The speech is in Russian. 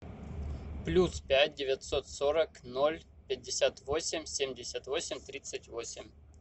плюс пять девятьсот сорок ноль пятьдесят восемь семьдесят восемь тридцать восемь